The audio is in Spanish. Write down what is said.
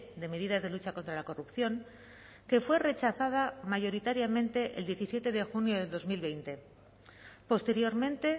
de medidas de lucha contra la corrupción que fue rechazada mayoritariamente el diecisiete de junio de dos mil veinte posteriormente